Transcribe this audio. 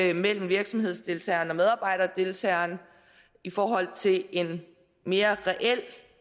er mellem virksomhedsdeltagerne og medarbejderdeltagerne og i forhold til en mere reel